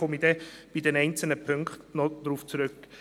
Darauf komme ich bei den einzelnen Punkten noch zurück.